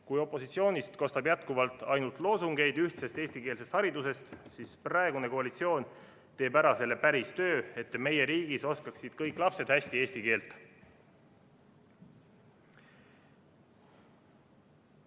Kui opositsioonist kostab jätkuvalt ainult loosungeid ühtsest eestikeelsest haridusest, siis praegune koalitsioon teeb ära selle päris töö, et meie riigis oskaksid kõik lapsed hästi eesti keelt.